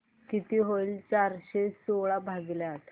किती होईल चारशे सोळा भागीले आठ